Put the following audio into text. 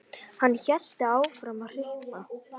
Hann hélt áfram að hripa